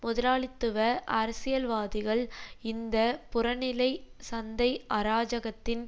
முதலாளித்துவ அரசியல்வாதிகள் இந்த புறநிலை சந்தை அராஜகத்தின்